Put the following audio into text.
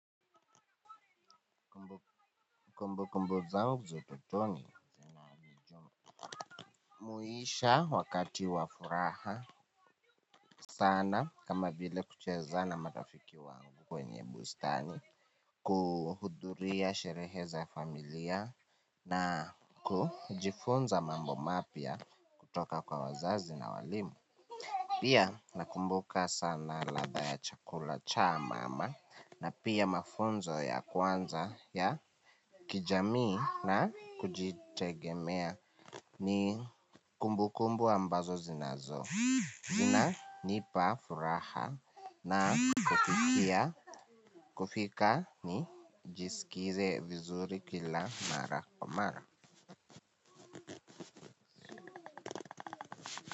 Kumbukumbu zangu za utotoni zinanijumuisha wakati wa furaha sana kama vile kucheza na marafiki wangu kwenye bustani. Kuhudhuria sherehe za familia na kujifunza mambo mapya kutoka kwa wazazi na walimu. Pia nakumbuka sana ladha ya chakula cha mama na pia mafunzo ya kwanza ya kijamii na kujitegemea. Ni kumbukumbu ambazo zinazo zinanipa furaha na kufikia kufika nijisikize vizuri kila mara kwa mara.